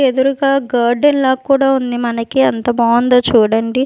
ఎదురుగా గార్డెన్ లా కూడా ఉంది మనకి అంత బాగుందో చూడండి.